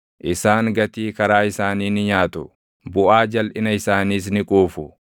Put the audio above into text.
isaan gatii karaa isaanii ni nyaatu; buʼaa jalʼina isaaniis ni quufu.